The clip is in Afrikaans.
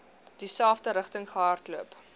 dieselfde rigting gehardloop